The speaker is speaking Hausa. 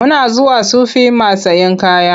Muna zuwa Sufi mat sayen kaya.